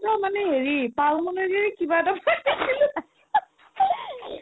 অ, মানে হেৰি মানে pau মানে যে কিবা এটা কৈ দিছিলো